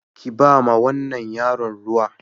Ki ba wa wannan yaron ruwa.